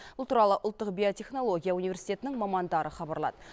бұл туралы ұлттық биотехнология университетінің мамандары хабарлады